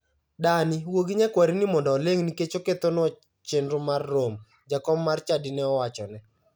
" Dani, wuo gi nyakwarini mondo oling' nikech okethonua chenro mar romo" jakom mar chadi ne owachone.